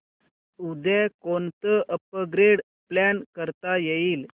उद्या कोणतं upgrade plan करता येईल